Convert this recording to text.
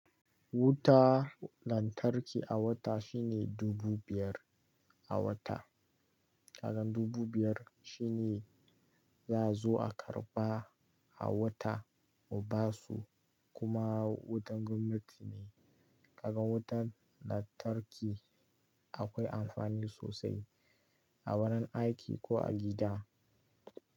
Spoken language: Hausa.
Wuta lantarki a wata shine dubu biyar a wata. Kagan dubu biyar shine za'a zo a karba a wata mu basu kuma wutan gwamnati ne. Kaga wutan lantarki akwai amfani sosai a wurin aiki ko a gida.